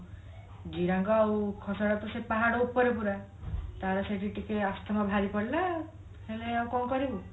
ଜିରାଙ୍ଗ ଆଉ ଖସଡା ତ ସେ ପାହାଡ ଉପରେ ପୁରା ତାର ସେଠି ଟିକେ ଆସ୍ଥାମା ବାହାରି ପଡିଲା ହେଲେ ଆଉ କଣ କରିବୁ